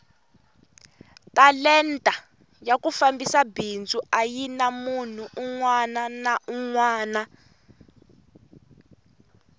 talenta ya ku fambisa bindzu ayina munhu unwana na unwana